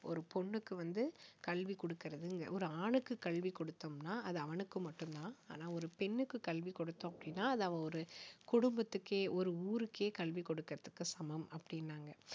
ஒரு பொண்ணுக்கு வந்து கல்வி கொடுக்கிறது ஒரு ஆணுக்கு கல்வி கொடுத்தோம்னா அது அவனுக்கு மட்டும் தான் ஆனால் ஒரு பெண்ணுக்கு கல்வி கொடுத்தோம் அப்படின்னா அது அவ ஒரு குடும்பத்துக்கே ஒரு ஊருக்கே கல்வி கொடுப்பதற்கு சமம் அப்படின்னாங்க